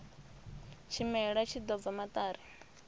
tshimela tshi ḓo bva maṱari